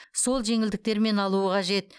сол жеңілдіктермен алуы қажет